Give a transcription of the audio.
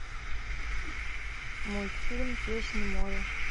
мультфильм песнь моря